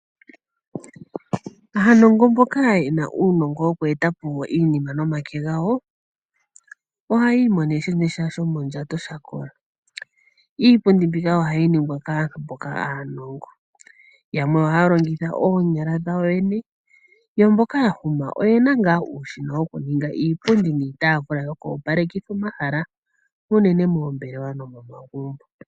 Aanongo mboka yena uunongo nokweetapo iinima nomake gawo ohaya imonene sha shomondjato shakola. Iipundi mbika ohayi ningwa kaantu mboka aanongo. Yamwe ohaya longitha oonyala dhawo yoyene, yo mboka yahuma oyena ngaa uushina wokuninga iipundi niitaafula yoku opalekitha omahala unene moombelewa nomomagumbo.